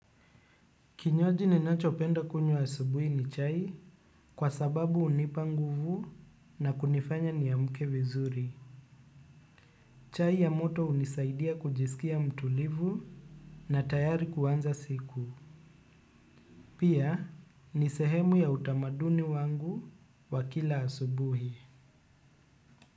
Kinywaji ninacho penda kunywa asubuhi ni chai kwa sababu unipa nguvu na kunifanya niamke vizuri. Chai ya moto hunisaidia kujisikia mtulivu na tayari kuanza siku. Pia ni sehemu ya utamaduni wangu wakila asubuhi.